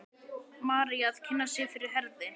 María að kynna sig fyrir Herði.